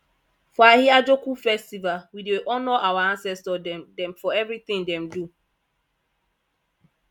for ahiajoku festival we dey honour our ancestor dem dem for everytin dem do